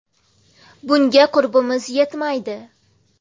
Bunga qurbimiz yetmaydi.